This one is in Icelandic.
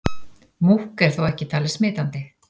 Múkk er þó ekki talið smitandi.